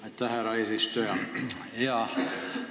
Aitäh, härra eesistuja!